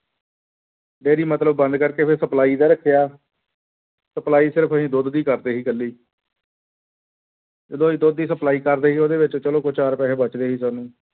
Dairy ਮਤਲਬ ਬੰਦ ਕਰਕੇ ਫਿਰ supply ਦਾ ਰੱਖਿਆ supply ਸਿਰਫ਼ ਅਸੀਂ ਦੁੱਧ ਦੀ ਕਰਦੇ ਸੀ ਇਕੱਲੀ ਜਦੋਂ ਅਸੀਂ ਦੁੱਧ ਦੀ supply ਕਰਦੇ ਸੀ ਉਹਦੇ ਵਿੱਚ ਚਲੋ ਦੋ ਚਾਰ ਪੈਸੇ ਬਚਦੇ ਸੀ ਸਾਨੂੰ।